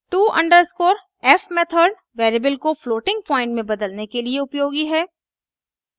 to _f method variable को floating point में बदलने के लिए उपयोगी है